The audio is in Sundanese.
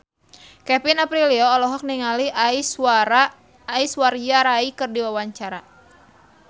Kevin Aprilio olohok ningali Aishwarya Rai keur diwawancara